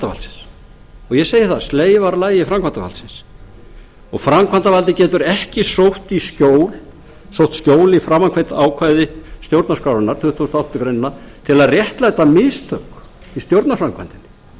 og ég segi það sleifarlagi framkvæmdarvaldsins framkvæmdarvaldið getur ekki sótt skjól í framangreint ákvæði stjórnarskrárinnar tuttugasta og áttundu greinar til að réttlæta mistök í stjórnarframkvæmdinni